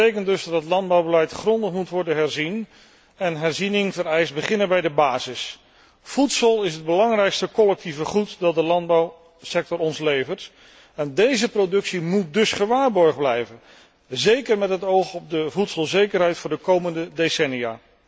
Dat betekent dus dat het landbouwbeleid grondig moet worden herzien en herziening vereist beginnen bij de basis. Voedsel is het belangrijkste collectieve goed dat de landbouwsector ons levert en deze productie moet dus gewaarborgd blijven, zeker met het oog op de voedselzekerheid voor de komende decennia.